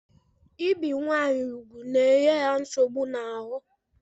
Ibe nwanyị ugwu na-enye ha nsogbu n'ahụ